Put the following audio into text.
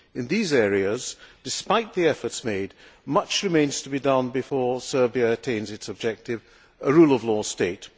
In these areas, despite the efforts made, much remains to be done before Serbia attains its objective a rule of law state.